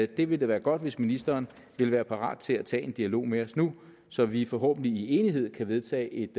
det vil da være godt hvis ministeren vil være parat til at tage en dialog med os nu så vi forhåbentlig i enighed kan vedtage et